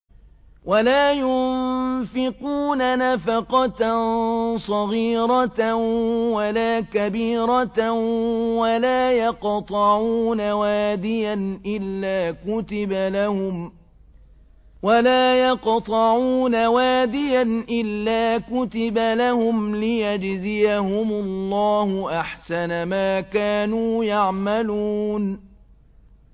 وَلَا يُنفِقُونَ نَفَقَةً صَغِيرَةً وَلَا كَبِيرَةً وَلَا يَقْطَعُونَ وَادِيًا إِلَّا كُتِبَ لَهُمْ لِيَجْزِيَهُمُ اللَّهُ أَحْسَنَ مَا كَانُوا يَعْمَلُونَ